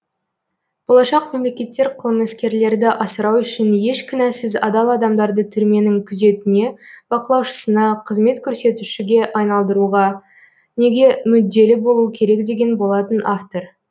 болашақ мемлекеттер қылмыскерлерді асырау үшін еш кінәсіз адал адамдарды түрменің күзетіне бақылаушысына қызмет көрсетушіге айналдыруға неге мүдделі болуы керек деген болатын автор